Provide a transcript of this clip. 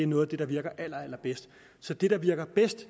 noget af det der virker allerallerbedst så det der virker bedst